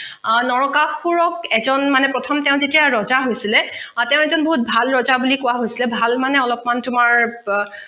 নৰকাসুৰক এজন মানে প্ৰথম তেওঁ যেতিয়া ৰজা হৈছিলে তেওঁ এজন বহুত ভাল বুলি কোৱা হৈছিলে ভাল মানে অলপমান তোমাৰ